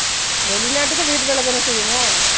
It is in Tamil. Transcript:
வெளி நாட்டுக்கும் வீட்டு வேலை தான செய்யணும்